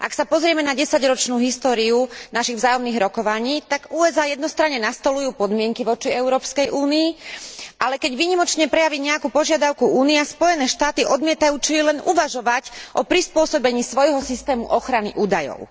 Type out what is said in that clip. Ak sa pozrieme na desaťročnú históriu našich vzájomných rokovaní, tak USA jednostranne nastoľujú podmienky voči Európskej únii, ale keď výnimočne prejaví nejakú požiadavku Únia, Spojené štáty odmietajú čo i len uvažovať o prispôsobení svojho systému ochrany údajov.